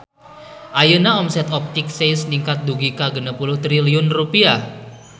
Ayeuna omset Optik Seis ningkat dugi ka 60 triliun rupiah